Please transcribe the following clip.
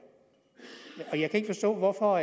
jeg kan ikke forstå hvorfor